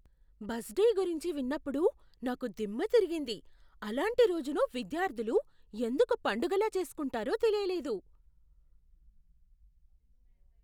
Bus day గురించి విన్నప్పుడు నాకు దిమ్మ తిరిగింది, అలాంటి రోజును విద్యార్థులు ఎందుకు పండగలా చేస్కుంటారో తెలియలేదు.